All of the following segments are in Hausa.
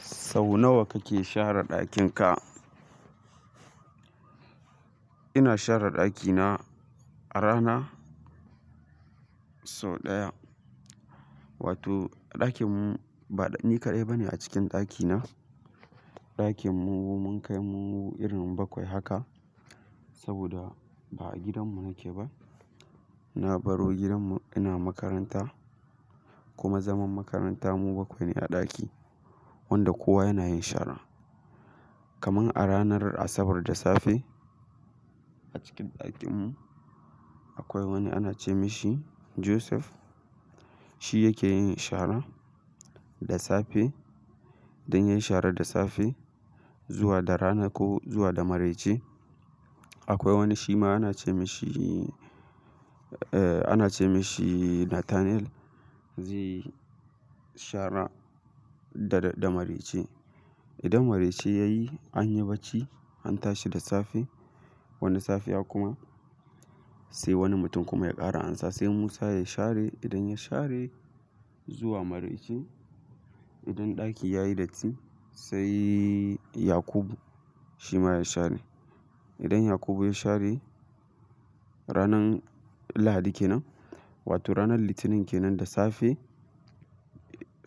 Sau nawa kake share ɗakin ka? Ina share ɗakina a rana sau ɗaya. Wato a ɗakin mu bani kaɗai bane a cikin ɗakina. A ɗakin mu mun kai mu irin bakwai haka, saboda ba a gidan mu nake ba. Na baro gidan mu ina makaranta kuma zaman makaranta mu bakwai ne a ɗaki wanda kowa yana yin shara. Kaman a ranar Asabar da safe a cikin ɗakin mu akwai wani ana ce mashi Joseph, shi yake yin shara da safe. Idan yayi shara da safe zuwa da rana ko zuwa da maraice akwai wani shi ma ana ce mashi, eh ana ce mashi Nathaniel zai shara da, da maraice. Idan maraice yayi, anyi bacci an tashi da safe. Wani safiya kuma sai wani mutum kuma ya ƙara ansa sai Musa ya share. Idan ya share zuwa maraice, idan ɗaki yayi datti sai Yakubu shima ya share. Idan Yakubu ya share ranan Lahadi kenan, wato ranan Litinin kenan da safe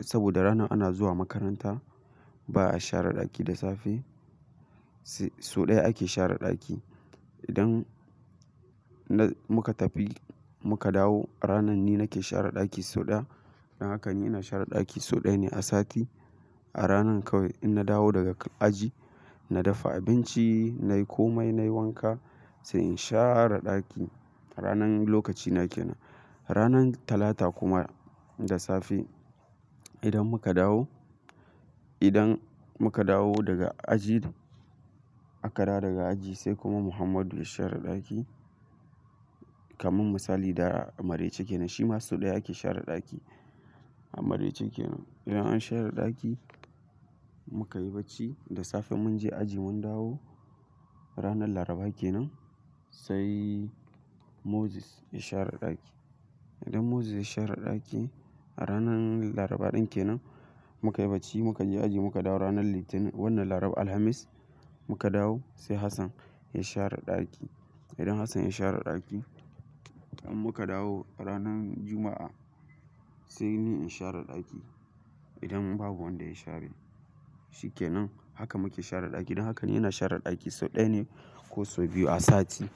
saboda ranar ana zuwa makaranta ba'a share ɗaki da safe. Sau ɗaya ake share ɗaki. Idan muka tafi muka dawo a ranan ni nake share ɗaki sau ɗaya. Don haka ni ina share ɗaki sau ɗaya ne a sati. A ranan kawai inna dawo daga aji, na dafa abinci nayi komai nayi wanka sai in share ɗaki. A ranan lokaci na kenan. Ranan Talata kuma da safe idan muka dawo, idan muka dawo daga aji aka dawo daga aji sai kuma Muhammadu ya share ɗaki. Kaman misali da maraice kenan shima sau ɗaya ake share ɗaki. A maraice kenan idan an share ɗaki mukan yi bacci da safe in munje aji mun dawo ranan Laraba kenan sai Moses ya share ɗaki. Idan Moses ya share ɗaki a ranan Laraba ɗin kenan muka yi bacci muka je aji muka dawo ranan Litinin wannan Laraba, Alhamis muka dawo sai Hassan ya share ɗaki. Idan Hassan ya share ɗaki in muka dawo ranan Juma'a saini in share ɗaki. Idan babu wanda ya share shikenan. Haka muka share ɗaki don haka ni ina share ɗaki sau ɗaya ne ko sau biyu a sati.